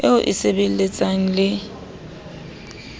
eo e e sebelletsang le